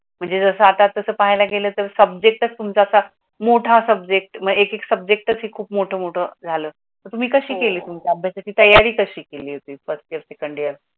म्हणजे जस अथा तस पाहाले गेले तर सबजेकटचं मोटा सबजेकट येक येक सबजेकटचं कुप मोटा मोटा झाला तर तुझी काशी केली तुम्‍ही अभ्‍यासाची तयरी काशी केली होती फर्स्ट इयर, सेकंड इयरला.